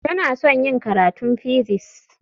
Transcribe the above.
Tana son yin karatun physics.